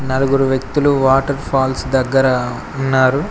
నలుగురు వ్యక్తులు waterfalls దగ్గర ఉన్నారు.